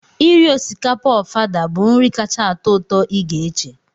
Iri osikapa Ofada bụ nri kacha atọ ụtọ ị ga-eche